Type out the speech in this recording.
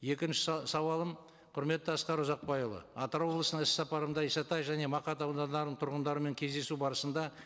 екінші сауалым құрметті асқар ұзақбайұлы атырау облысына іс сапарымда исатай және мақат аудандарының тұрғындарымен кездесу барысында